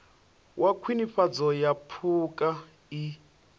wa khwinifhadzo ya phukha i